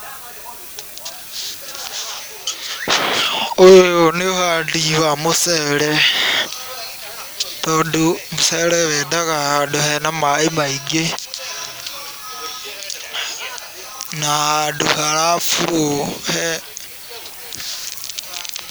Ũyũ nĩũhandi wa mũcere, tondũ mũcere wendaga handũ hena maĩ maingĩ na handũ hara flow he...